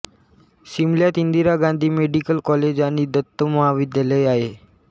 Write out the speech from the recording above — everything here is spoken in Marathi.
शिमल्यात इंदिरा गांधी मेडिकल कॉलेज आणि दंत महाविद्यालय आहे